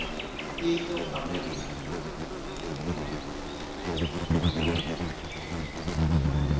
states of america